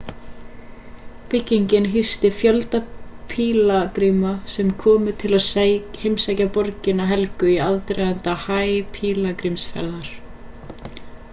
byggingin hýsti fjölda pílagríma sem komu til að heimsækja borgina helgu í aðdraganda hajj-pílagrímsferðar